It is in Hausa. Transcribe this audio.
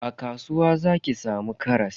A kasuwa zaki samu karas.